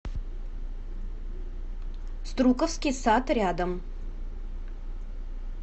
струковский сад рядом